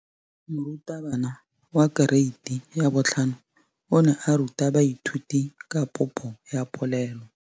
Moratabana wa kereiti ya 5 o ne a ruta baithuti ka popô ya polelô.